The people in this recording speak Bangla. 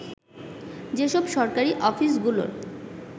যেসব সরকারি অফিসগুলোর